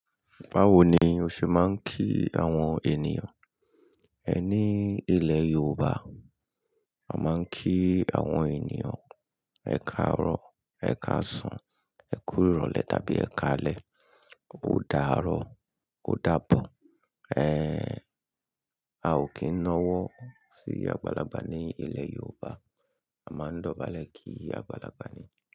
Báwo ni o ṣe máa ń kí àwọn ènìyàn? Ẹ ní ilẹ̀ Yorùbá, a máa ń kí àwọn ènìyàn "ẹ káàárọ̀", "ẹ káàsan", "ẹ kúrò lẹ̀" tàbí "ẹ káalẹ́", "o dáàárọ̀", "o dábọ̀". Ẹ̀, a ò kí ń náwọ́ sí "àgbàlagbà" ní ilẹ̀ Yorùbá, a máa ń dọ̀bálẹ̀ kí àgbàlagbà ni.